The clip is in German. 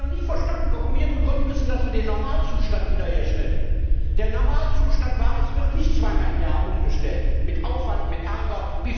Ich habe noch nie verstanden, warum wir begründen müssen, dass wir den Normalzustand wiederherstellen. Der Normalzustand war, es wird nicht zweimal im Jahr umgestellt mit Aufwand, mit Ärger.